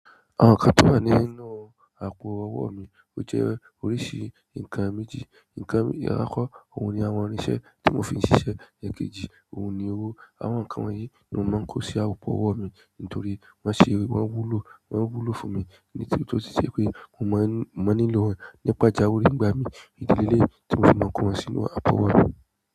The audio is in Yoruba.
Àwọn nǹkan tó wà nínú àpò owó mi ó jẹ́ oríṣi nǹkan méjì. Nǹkan àkọ́kọ́, òun ni àwọn irin-iṣẹ́ tí mo fi ń ṣiṣẹ́ ẹ̀ẹ̀kejì, òun ni owó. Àwọn nǹkan wọ̀nyí ni mò ń máa ń kó sí àpò owó mi nítorí wọ́n ṣé, wọ́n wúlò, wọ́n wúlò fún mi. Ẹni tó ti ṣe pé mò ń máa ń nílò wọn ní pàjáwìrì nígbà míì. Ìdí leléyìí tí mò fi máa ń kó wọn sínú àpò ọwọ́ mi.